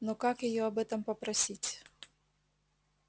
но как её об этом попросить